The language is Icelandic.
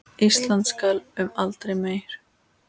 Ísland skal um aldur mey